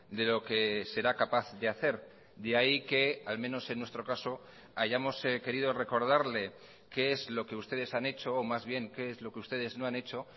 de lo que será capaz de hacer de ahí que al menos en nuestro caso hayamos querido recordarle qué es lo que ustedes han hecho o más bien qué es lo que ustedes no han hecho